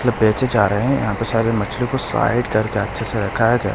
लब बेचे जा रहे हैं यहां पे सारे मछली को साइड करके अच्छे से रखा गया --